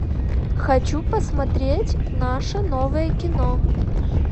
хочу посмотреть наше новое кино